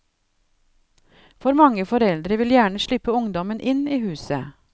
For mange foreldre vil gjerne slippe ungdommen inn i huset.